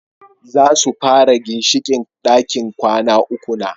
Zasu fara ginshiƙin ɗakin kwana uku na